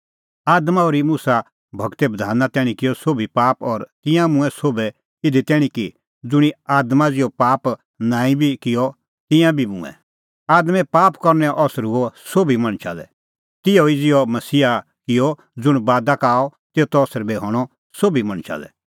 आदमा ओर्ही मुसा गूरे बधाना तैणीं किअ सोभी पाप और तिंयां मूंऐं सोभै इधी तैणीं कि ज़ुंणी आदमा ज़िहअ पाप बी नांईं बी किअ तिंयां बी मूंऐं आदमे पाप करनैओ असर हुअ सोभी मणछा लै तिहअ ई ज़िहअ मसीहा किअ ज़ुंण बादा का आअ तेतो असर बी हणअ सोभी मणछा लै